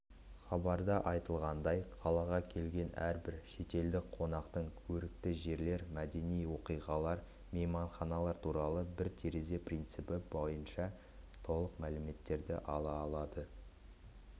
хабарда айтылғандай қалаға келген әрбір шетелдік қонақтың көрікті жерлер мәдени оқиғалар мейманханалар туралы бір терезе принципі бойынша толық мәліметті ала алады